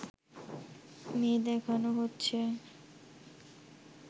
মেয়ে দেখানো হচ্ছে